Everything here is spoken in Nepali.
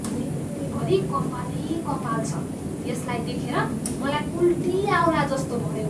भुइँभरि कपालै कपाल छ। यसलाई देखेर मलाई उल्टी आउलाजस्तो भयो।